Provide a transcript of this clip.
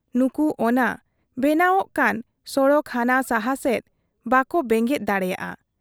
ᱱᱩᱠᱩ ᱚᱱᱟ ᱚᱱᱟ ᱵᱮᱱᱟᱣᱜ ᱠᱟᱱ ᱥᱚᱲᱚᱠ ᱦᱟᱱᱟ ᱥᱟᱦᱟ ᱥᱮᱫ ᱵᱟᱠᱚ ᱵᱮᱸᱜᱮᱫ ᱫᱟᱲᱮᱭᱟᱫ ᱟ ᱾